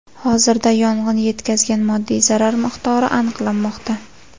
Hozirda yong‘in yetkazgan moddiy zarar miqdori aniqlanmoqda.